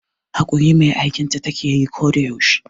Haƙuri mai aikinta takeyi ko da yaushe